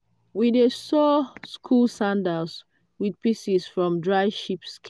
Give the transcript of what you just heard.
we dey sow school sandals with pieces from dried sheep skin.